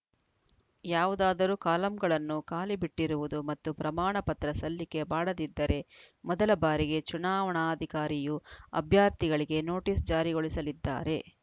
ಯಾವುದಾದರೂ ಕಾಲಂಗಳನ್ನು ಖಾಲಿ ಬಿಟ್ಟಿರುವುದು ಮತ್ತು ಪ್ರಮಾಣ ಪತ್ರ ಸಲ್ಲಿಕೆ ಮಾಡದಿದ್ದರೆ ಮೊದಲ ಬಾರಿಗೆ ಚುನಾವಣಾಧಿಕಾರಿಯು ಅಭ್ಯರ್ಥಿಗಳಿಗೆ ನೋಟಿಸ್‌ ಜಾರಿಗೊಳಿಸಲಿದ್ದಾರೆ